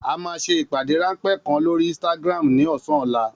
A máa ṣe ìpàdé ráńpẹ́ kan lórí Instagram ní ọ̀sán ọ̀la